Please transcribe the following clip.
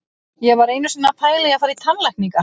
Ég var einu sinni að pæla í að fara í tannlækningar.